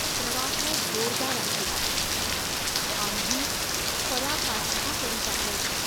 प्रवाह जोरदार आहे. आम्ही पराकाष्ठा करीत आहोत.